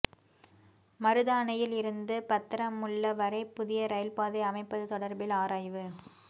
மருதானையில் இருந்து பத்தரமுல்ல வரை புதிய ரயில் பாதை அமைப்பது தொடர்பில் ஆராய்வு